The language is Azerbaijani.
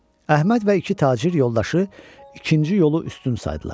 Əhməd və iki tacir yoldaşı ikinci yolu üstün saydılar.